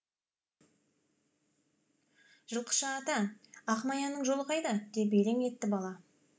жылқышы ата ақ маяның жолы қайда деп елең етті бала